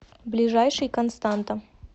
ближайший константа